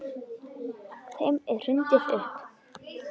Þeim er hrundið upp.